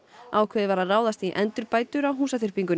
ákveðið var að ráðast í endurbætur á